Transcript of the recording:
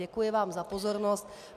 Děkuji vám za pozornost.